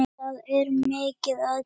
Það er mikið að gera.